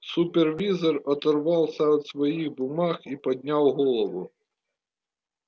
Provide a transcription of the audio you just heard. супервизор оторвался от своих бумаг и поднял голову